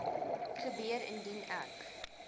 gebeur indien ek